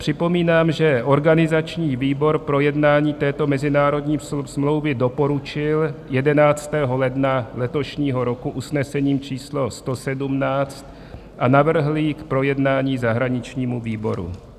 Připomínám, že organizační výbor projednání této mezinárodní smlouvy doporučil 11. ledna letošního roku usnesením číslo 117 a navrhl ji k projednání zahraničnímu výboru.